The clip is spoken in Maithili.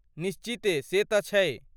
निश्चिते ,से त छै ।